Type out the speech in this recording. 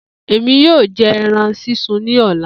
Emi yoo jẹ ẹran sisun ni ọla